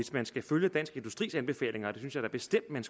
man skal følge dansk industris anbefalinger og det synes jeg da bestemt at man